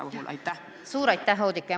Suur aitäh, Oudekki!